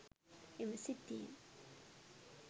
එම සිද්ධියෙන්